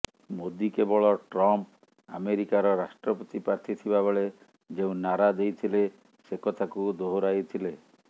ମୋଦି କେବଳ ଟ୍ରମ୍ପ ଆମେରିକାର ରାଷ୍ଟ୍ରପତି ପ୍ରାର୍ଥୀ ଥିବା ବେଳେ ଯେଉଁ ନାରା ଦେଇଥିଲେ ସେକଥାକୁ ଦୋହରାଇଥିଲେ